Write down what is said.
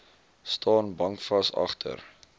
staan bankvas agter